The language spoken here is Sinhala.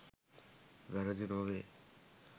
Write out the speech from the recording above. වැරදි නොවේ.